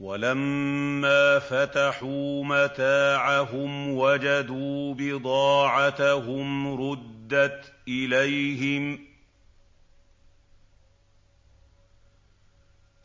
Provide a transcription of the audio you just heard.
وَلَمَّا فَتَحُوا مَتَاعَهُمْ وَجَدُوا بِضَاعَتَهُمْ رُدَّتْ إِلَيْهِمْ ۖ